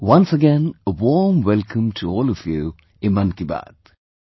Once again a warm welcome to all of you in 'Mann Ki Baat'